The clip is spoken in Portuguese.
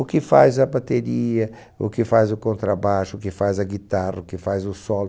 O que faz a bateria, o que faz o contrabaixo, o que faz a guitarra, o que faz o solo.